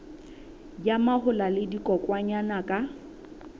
ya mahola le dikokwanyana ka